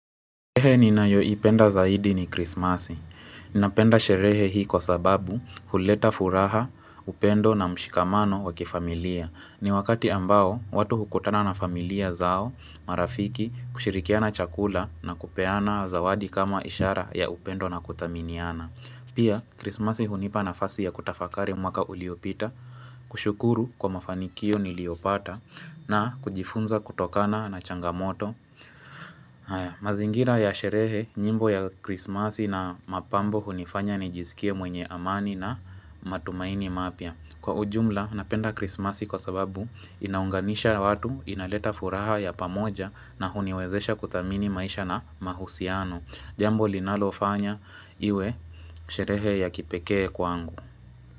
Sherehe ninayoipenda zaidi ni krismasi. Ninapenda sherehe hii kwasababu huleta furaha, upendo na mshikamano wakifamilia. Ni wakati ambao watu hukutana na familia zao, marafiki, kushirikiana chakula na kupeana zawadi kama ishara ya upendo na kuthaminiana. Pia, krismasi hunipa nafasi ya kutafakari mwaka uliopita, kushukuru kwa mafanikio niliopata, na kujifunza kutokana na changamoto haya mazingira ya sherehe, nyimbo ya krismasi na mapambo hunifanya nijisikie mwenye amani na matumaini mapya Kwa ujumla, napenda krismasi kwasababu inaunganisha watu, inaleta furaha ya pamoja na huniwezesha kuthamini maisha na mahusiano Jambo linalofanya iwe sherehe ya kipekee kwangu.